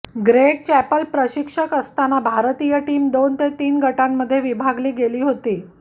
Greg Chappell प्रशिक्षक असताना भारतीय टीम दोन ते तीन गटांमध्ये विभागली गेली होती